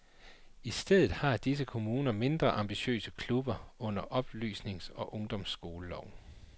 I stedet har disse kommuner mindre ambitiøse klubber under oplysnings eller ungdomsskoleloven.